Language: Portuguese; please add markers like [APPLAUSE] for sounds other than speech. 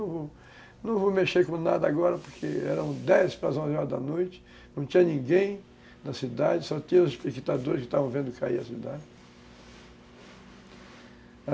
[UNINTELLIGIBLE] Eu não vou mexer com nada agora, porque eram dez para as onze horas da noite, não tinha ninguém na cidade, só tinha os espectadores que estavam vendo cair a cidade.